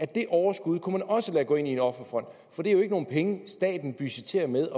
det overskud kunne man også lade gå ind i en offerfond for det er jo ikke nogen penge staten budgetterer med